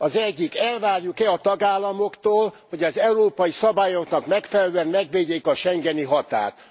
Az egyik elvárjuk e a tagállamoktól, hogy az európai szabályoknak megfelelően megvédjék a Schengeni határt?